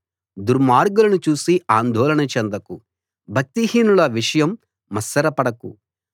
దుర్మార్గులను చూసి అందోళన చెందకు భక్తిహీనుల విషయం మత్సరపడకు